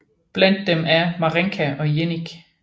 Blandt dem er Mařenka og Jeník